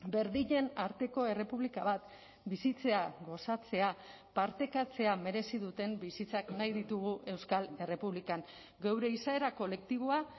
berdinen arteko errepublika bat bizitzea gozatzea partekatzea merezi duten bizitzak nahi ditugu euskal errepublikan geure izaera kolektiboa